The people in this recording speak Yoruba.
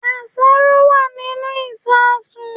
Àṣàrò wà nínú ìsasùn